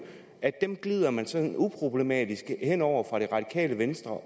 glider man sådan uproblematisk hen over fra det radikale venstres